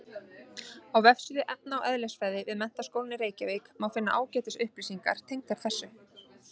Á vefsíðu efna- og eðlisfræði við Menntaskólann í Reykjavík má finna ágætis upplýsingar tengdar þessu.